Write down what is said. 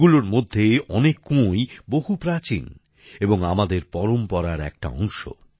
এগুলোর মধ্যে অনেক কুয়োই বহু প্রাচীন এবং আমাদের পরম্পরার একটা অংশ